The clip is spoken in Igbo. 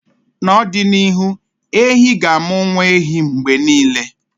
na ọdịnihu, ehi ga-amụ nwa ehi mgbe niile